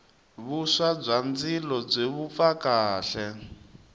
vuswa bya ndzilo byi vupfa kahle